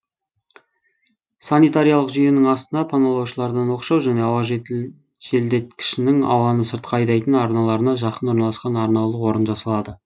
санитариялық жүйенің астына паналаушылардан оқшау және ауа желдеткішінің ауаны сыртқа айдайтын арналарына жақын орналасқан арнаулы орын жасалады